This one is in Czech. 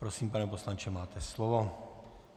Prosím, pane poslanče, máte slovo.